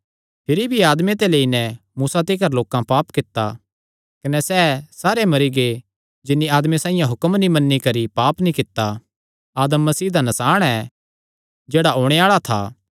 भिरी भी आदमे ते लेई नैं मूसा तिकर लोकां पाप कित्ता कने सैह़ सारे मरी गै जिन्नी आदम साइआं हुक्म नीं मन्नी करी पाप नीं कित्ता आदम मसीह दा नसाण ऐ जेह्ड़ा ओणे आल़ा था